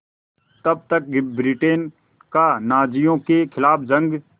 तब तक ब्रिटेन का नाज़ियों के ख़िलाफ़ जंग